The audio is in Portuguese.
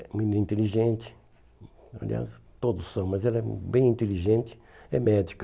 menina É inteligente, aliás, todos são, mas ela é bem inteligente, é médica.